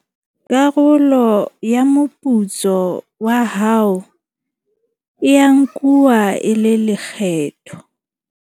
Karolo ya moputso wa hao e a nkuwa e le lekgetho.